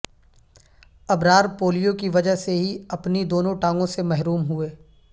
ابرار polio کی وجہ سے ہی اپنی دونوں ٹانگوں سے محروم ہوئے